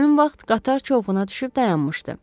Həmin vaxt qatar çovquna düşüb dayanmışdı.